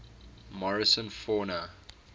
morrison fauna